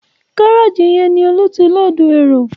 Gárájì yẹn ni Olú ti lóòdù èrò